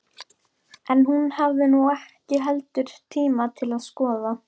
En hún hafði nú ekki heldur tíma til að skoða